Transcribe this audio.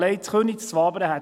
in Wabern gäbe es noch mehr.